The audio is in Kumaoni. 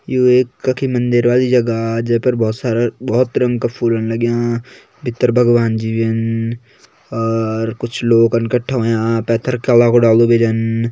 यु एक कखि मंदिर वाली जगह जे पर बोहोत सारा बोहोत रंग का फूलन लग्यां भित्तर भगवानजी भी छन और कुछ लोगन कट्ठा ह्वायां पेथर केला कु डालु भी छन।